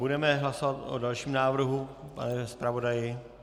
Budeme hlasovat o dalším návrhu, pane zpravodaji.